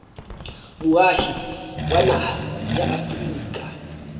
moahi wa naha ya afrika